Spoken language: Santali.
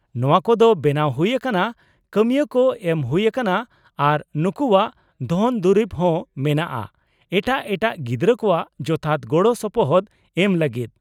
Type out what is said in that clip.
-ᱱᱚᱶᱟ ᱠᱚᱫᱚ ᱵᱮᱱᱟᱣ ᱦᱩᱭ ᱟᱠᱟᱱᱟ, ᱠᱟᱹᱢᱤᱭᱟᱹ ᱠᱚ ᱮᱢ ᱦᱩᱭ ᱟᱠᱟᱱᱟ, ᱟᱨ ᱱᱩᱠᱩᱣᱟᱜ ᱫᱷᱚᱱ ᱫᱩᱨᱤᱵ ᱦᱚᱸ ᱢᱮᱱᱟᱜᱼᱟ ᱮᱴᱟᱜ ᱮᱴᱟᱜ ᱜᱤᱫᱽᱨᱟᱹ ᱠᱚᱣᱟᱜ ᱡᱚᱛᱷᱟᱛ ᱜᱚᱲᱚ ᱥᱚᱯᱚᱦᱚᱫ ᱮᱢ ᱞᱟᱹᱜᱤᱫ ᱾